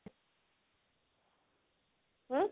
hm